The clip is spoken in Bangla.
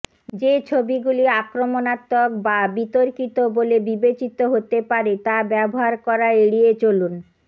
যে ছবিগুলি আক্রমণাত্মক বা বিতর্কিত বলে বিবেচিত হতে পারে তা ব্যবহার করা এড়িয়ে চলুন